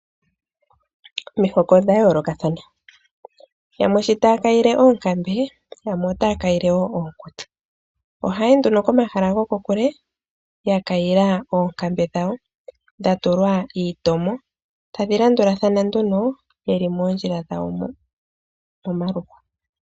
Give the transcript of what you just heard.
Omihoko dha yoolokathana yamwe sho taa kayile oonkambe yo yamwe otaa kayile wo onkutsa ohaayi nduno komahala ga yooloka ya kayila oonkambe tadhi landula thana nduno momaluhwa mo.